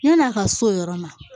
Yann'a ka s'o yɔrɔ ma